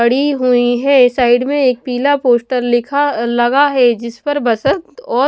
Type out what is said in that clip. पड़ी हुई है साइड में एक पीला पोस्टर लिखा लगा है जिस पर बसंत और--